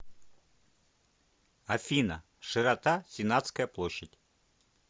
афина широта сенатская площадь